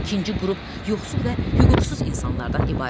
İkinci qrup yoxsul və hüquqsuz insanlardan ibarətdir.